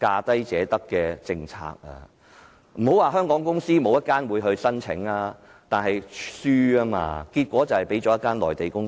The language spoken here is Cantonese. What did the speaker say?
當時不是沒有香港公司入標，但結果卻敗給一家內地公司。